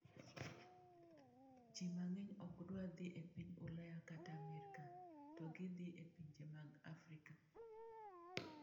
Ji mang’eny ok dwar dhi e piny Ulaya kata Amerka, to gidhi e pinje mag Afrika.